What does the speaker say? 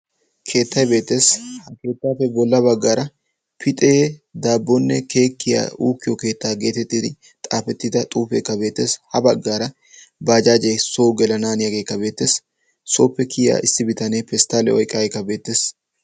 Keettay beettees. Kettappe bolla baggaara pixe dabonne keekke uukkiyo keetta geettettidi xaafettida xuufekka sintta baggaara bajjajje so gelana haniyage beettees. Sooppe kiyiya pestaliyaa oyqqa issi bitanekka beettees.